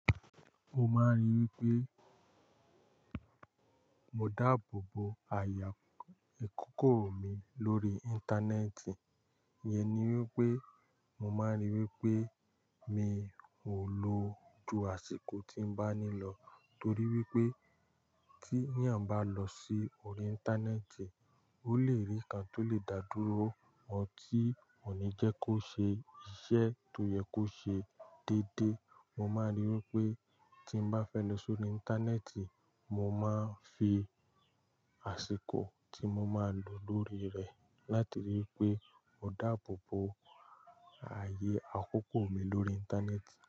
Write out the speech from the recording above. Mo máa ń rí i wí pé, mo dáàbò bo àyè ìkókó mi lórí Íńtánẹ́ẹ̀tì. Iyẹn ni wípé, mo máa ń rí i wípé mi ò lọ ju àsìkò tí ń bá nílò torí wípé tí ènìyàn bá lọ sí orí Íńtánẹ́ẹ̀tì, ó lè rí nǹkan tó lè dà dúró mọ́ tí kò ní jẹ́ kó ṣe iṣẹ́ tó yẹ kó ṣe dédé. Mo máa ń rí i wípé tí mo bá fẹ́ lọ sórí Íńtánẹ́ẹ̀tì, mo máa ń fi àsìkò tí mo máa lò lórí rẹ̀ láti rí wípé mo dáàbò bo àyè àkókò mi lórí Íńtánẹ́ẹ̀tì.